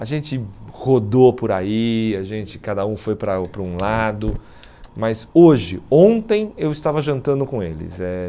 A gente rodou por aí, a gente cada um foi para o para um lado, mas hoje, ontem, eu estava jantando com eles. Eh